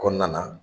Kɔnɔna na